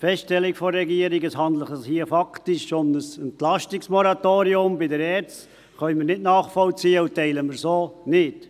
Die Feststellung der Regierung, es handle sich hier faktisch um ein Entlastungsmoratorium bei der ERZ, können wir nicht nachvollziehen und teilen wir so nicht.